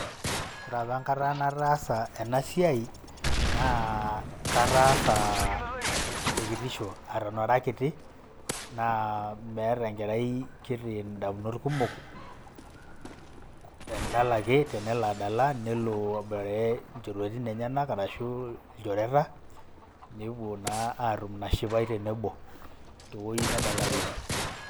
Ore apa enkata nataasa ena siai naa katasa te kitishu eton ara kiti naa meeta enkerai kiti ndamunot kumok endala ake tenelo adala nelo aboitare njorueti enyenak arashu ilchoreta nepuo naa atum ina shipai tenebo te woi nedalareki.